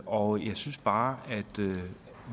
og jeg synes bare at